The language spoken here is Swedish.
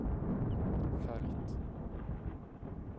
följt